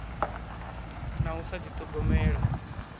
na u sa ḓi ṱhogomela